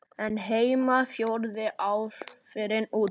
en heima fjöruðu áhrifin út.